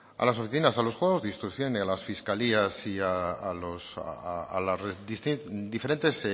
a las oficinas a los juzgados de instrucción y a las fiscalías y a los a diferentes